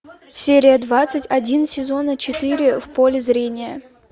серия двадцать один сезона четыре в поле зрения